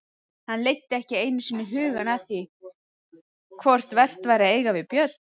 Hann leiddi ekki einu sinni hugann að því hvort vert væri að eiga við Björn.